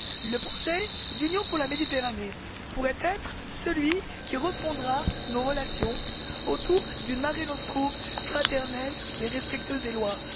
Le projet d'Union pour la Méditerranée pourrait être celui qui refondera nos relations autour d'une mare nostrum fraternelle et respectueuse des lois.